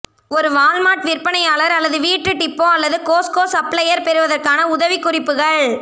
ஒரு வால்மார்ட் விற்பனையாளர் அல்லது வீட்டு டிப்போ அல்லது கோஸ்ட்கோ சப்ளையர் பெறுவதற்கான உதவிக்குறிப்புகள்